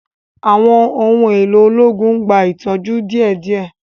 Àwọn ohùn èló ológun n gbà itọju déédéé